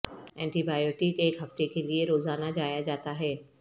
anti biotic ایک ہفتے کے لئے روزانہ جایا جاتا ہے